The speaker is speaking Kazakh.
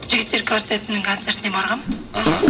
жігіттер квартетінің концертіне барғанмын іхі